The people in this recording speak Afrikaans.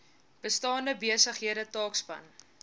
bestaande besighede taakspan